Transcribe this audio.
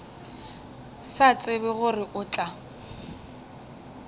sa tsebe gore o tla